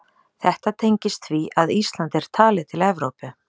Þetta tengist því að Ísland er talið til Evrópu.